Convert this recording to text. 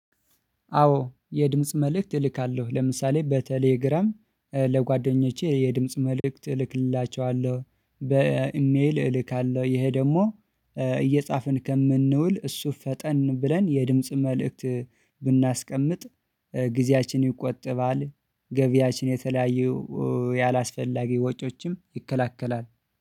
አዎ የድምጽ መልእክት እልካለሁ ለምሳሌ በቴሌግራም ለጓደኞቼ የድምጽ መልእክት እልክላችዋለሁ በኢሜል እልካለሁ። ይሄ ደግሞ እየጻፍን ከምንውል እሱ ፈጠን ብለን የድምጽ መልእክት ብናስቀምጥ ጊዜያችን ይቆጠባል። ገቢያችን የተለያየ ያላስፈላጊ ወጪዎችም ይከለክላል።